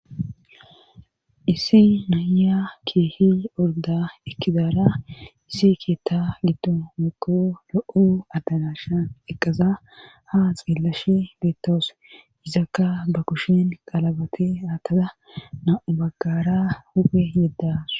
issi nayiya keeha ordda ekkidara issi keeththa giddon woykko lo'o adarashan eqqaza ha xeelashe beetawus. izakka ba kushen qalabatte aatada nam'u baggara huuphe yedawus.